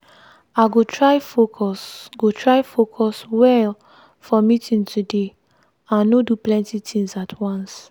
i go try focus go try focus well for meeting today and no do plenty things at once.